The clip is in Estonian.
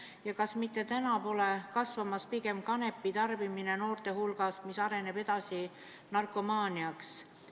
Ja kas mitte pole noorte hulgas kasvamas pigem kanepi tarbimine, mis areneb edasi narkomaaniaks?